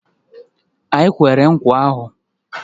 I kwere nkwa ahu?